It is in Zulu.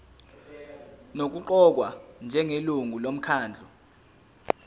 nokuqokwa njengelungu lomkhandlu